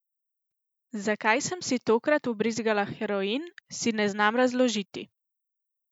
Zakaj sem si tokrat vbrizgala heroin, si ne znam razložiti.